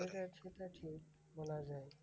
বিষয়টা সেটা ঠিক বলা যায়।